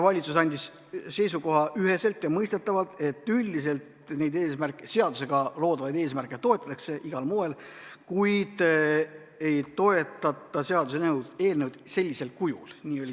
Valitsus andis seisukoha üheselt ja mõistetavalt, et üldiselt neid seadusega loodavaid eesmärke toetatakse igal moel, kuid ei toetata seaduseelnõu sellisel kujul.